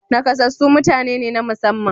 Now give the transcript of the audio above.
Nakasassu mutane ne na musamman.